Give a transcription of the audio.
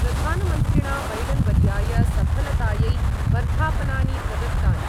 प्रधानमन्त्रिणा बैडन्वर्याय सफलतायै वर्धापनानि प्रदत्तानि।